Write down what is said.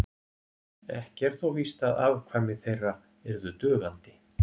Ekki er þó víst að afkvæmi þeirra yrðu dugandi.